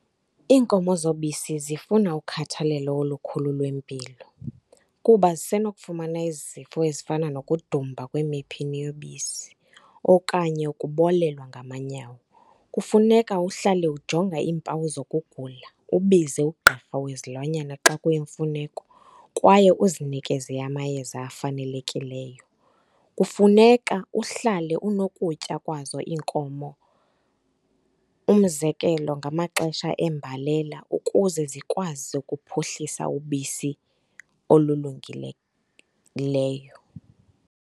Iinkomo zobisi zifuna ukhathalelo olukhulu lwempilo kuba zisenokufumana izifo ezifana nokudumba kwemiphini yobisi okanye ukubolelwa ngamanyawo. Kufuneka uhlale ujonga iimpawu zokugula, ubize ugqirha wezilwanyana xa kuyimfuneko kwaye uzinikeze amayeza afanelekileyo. Kufuneka uhlale unokutya kwazo iinkomo. Umzekelo, ngamaxesha eembalela ukuze zikwazi ukuphuhlisa ubisi olulungileyo .